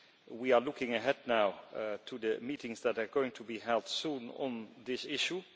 We are looking ahead now to the meetings that are going to be held soon on this issue.